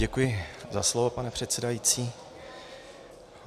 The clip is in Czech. Děkuji za slovo, pane předsedající.